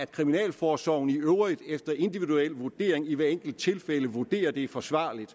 kriminalforsorgen i øvrigt efter individuel vurdering i hvert enkelt tilfælde vurderer at det er forsvarligt